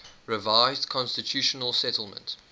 revised constitutional settlement